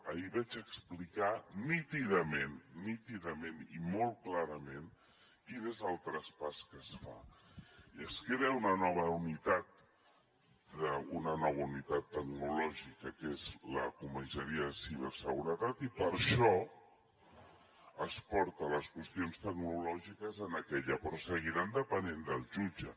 ahir vaig explicar nítidament nítidament i molt clarament quin és el traspàs que es fa i es crea una nova unitat una nova unitat tecnològica que és la comissaria de ciberseguretat i per això es porten les qüestions tecnològiques en aquella però seguiran depenent del jutge